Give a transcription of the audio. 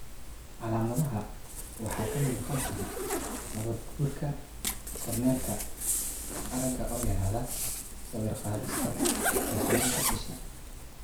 Calaamadaha waxaa ka mid noqon kara nabaad-guurka cornealka, aragga oo yaraada, sawir-qaadista, iyo xanuunka isha.